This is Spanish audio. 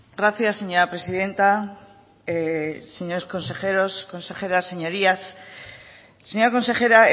gracias señora presidenta señores consejeros consejeras señorías señora consejera